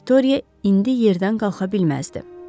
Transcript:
Viktoriya indi yerdən qalxa bilməzdi.